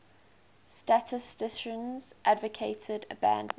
statisticians advocated abandonment